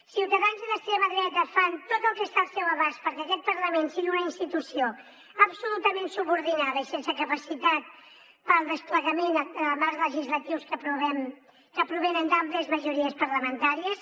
ciutadans i l’extrema dreta fan tot el que està al seu abast perquè aquest parlament sigui una institució absolutament subordinada i sense capacitat per al desplegament de marcs legislatius que provenen d’àmplies majories parlamentàries